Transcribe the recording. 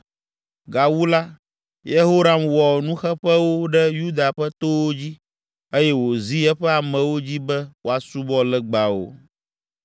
Gawu la, Yehoram wɔ nuxeƒewo ɖe Yuda ƒe towo dzi eye wòzi eƒe amewo dzi be woasubɔ legbawo.